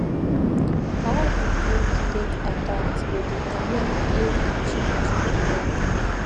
how the breed take adapt go determine if the change go work